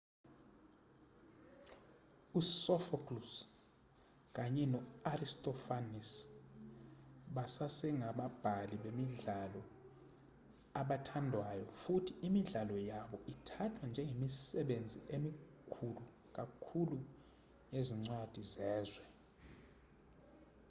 usophocles kanye no-aristophanes basasengababhali bemidlalo abathandwayo futhi imidlalo yabo ithathwa njengemisebenzi emikhulu kakhulu yezincwadi zezwe